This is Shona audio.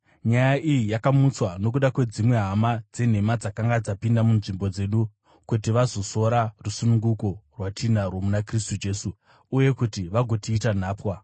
Nyaya iyi yakamutswa nokuda kwedzimwe hama dzenhema dzakanga dzapinda munzvimbo dzedu kuti vazosora rusununguko rwatinarwo muna Kristu Jesu uye kuti vagotiita nhapwa.